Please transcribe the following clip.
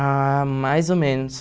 Ah, mais ou menos.